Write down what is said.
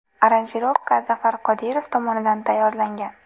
Aranjirovka Zafar Qodirov tomonidan tayyorlangan.